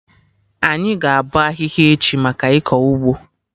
Anyị ga-abọ ahihia echi, maka ịkọ ụgbọ